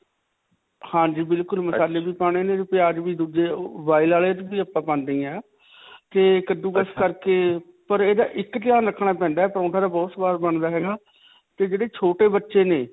ਹਾਂਜੀ. ਬਿਲਕੁਲ ਮਸਾਲੇ ਵੀ ਪਾਉਣੇ ਨੇ ਤੇ ਪਿਆਜ ਵੀ boil ਵਾਲੇ 'ਚ ਵੀ ਆਪਾਂ ਪਾਉਂਦੇ ਹੀ ਹਾਂ ਤੇ ਕੱਦੂਕਸ ਕਰਕੇ ਪਰ ਇਹਦਾ ਇੱਕ ਖਿਆਲ ਰਖਣਾ ਪੈਂਦਾ ਹੈ. ਪਰੌਂਠਾ ਤੇ ਬਹੁਤ ਸੁਆਦ ਬਣਦਾ ਹੈਗਾ ਤੇ ਜਿਹੜੇ ਛੋਟੇ ਬੱਚੇ ਨੇ.